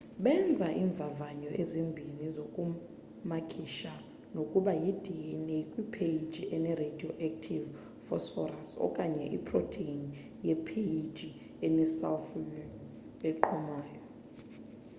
benza iimvavanyo ezimbini zokumakisha nokuba yi-dna kwipheji ene-radioactive phosphorus okanye iprotheni ye-phage enesalfure eqhumayo